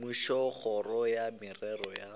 mmušo kgoro ya merero ya